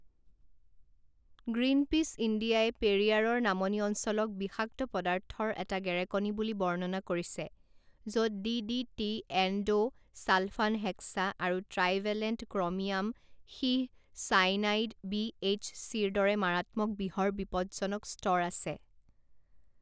Greenpeace ইণ্ডিয়াই পেৰিয়াৰৰ নামনি অঞ্চলক বিষাক্ত পদাৰ্থৰ এটা গেৰেকনি বুলি বৰ্ণনা কৰিছে য'ত D D T endosulfan hexa আৰু ট্ৰাইভেলেণ্ট ক্ৰ'মিয়াম সীহ চাইনাইড বি এইচ চিৰ দৰে মাৰাত্মক বিহৰ বিপদজনক স্তৰ আছে।